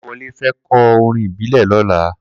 Kolawole fè kò órín ìbílè lòlà